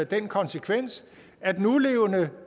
den konsekvens at nulevende